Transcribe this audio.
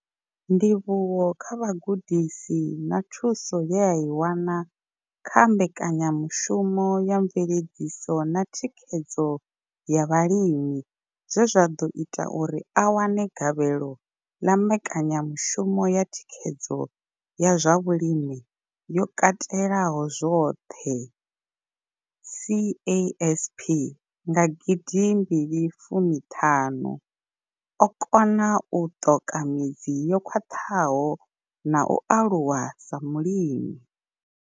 Ndivhuwo kha vhugudisi na thuso ye a i wana kha mbekanyamushumo ya mveledziso na thikhedzo ya vhalimi zwe zwa ḓo ita uri a wane gavhelo ḽa mbekanyamushumo ya thikhedzo ya zwa vhulimi yo katelaho zwoṱhe CASP nga 2015, o kona u ṱoka midzi yo khwaṱhaho na u aluwa sa mulimi.